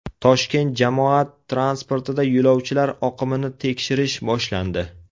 Toshkent jamoat transportida yo‘lovchilar oqimini tekshirish boshlandi.